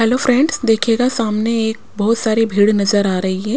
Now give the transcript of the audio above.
Hello friends देखिएगा सामने एक बहुत सारी भीड़ नज़र आ रही है।